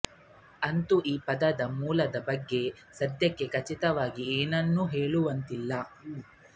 ಅಂತೂ ಈ ಪದದ ಮೂಲದ ಬಗ್ಗೆ ಸದ್ಯಕ್ಕೆ ಖಚಿತವಾಗಿ ಏನನ್ನೂ ಹೇಳುವಂತಿಲ್ಲ